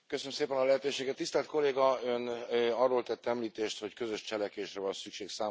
Tisztelt Kolléga, Ön arról tett említést, hogy közös cselekvésre van szükség számos területen.